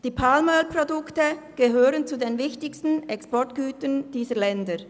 Die Palmölprodukte gehören zu den wichtigsten Exportgütern dieser Länder.